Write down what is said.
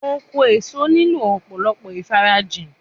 Oko èso nílò ọ̀pọ̀lọpọ̀ ìfarajìn